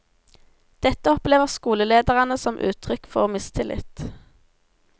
Dette opplever skolelederne som uttrykk for mistillit.